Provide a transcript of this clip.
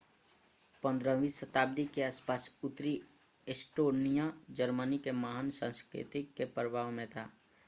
15 वीं शताब्दी के आसपास उत्तरी एस्टोनिया जर्मनी के महान सांस्कृतिक के प्रभाव में था